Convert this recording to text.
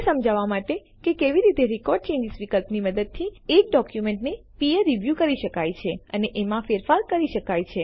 એ સમજાવવા માટે કે કેવી રીતે રેકોર્ડ ચેન્જીસ વિકલ્પની મદદથી એક ડોક્યુમેન્ટને પીયર રીવ્યૂ કરી શકાય છે અને એમાં ફેરફાર કરી શકાય છે